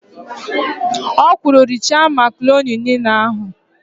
O kwuru, "richaa makaroni niile ahụ"!